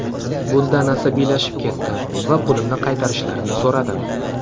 Bundan asabiylashib ketdim va pulimni qaytarishlarini so‘radim.